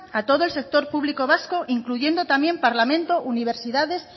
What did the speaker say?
a todo el sector público vasco incluyendo también parlamento universidades